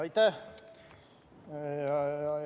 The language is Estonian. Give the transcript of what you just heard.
Aitäh!